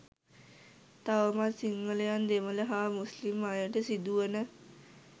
තවමත් සිංහලයන් දෙමල හා මුස්ලිම් අයට සිදු වන